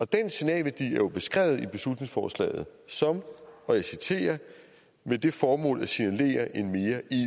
den signalværdi beskrevet i beslutningsforslaget som og jeg citerer med det formål at signalere en mere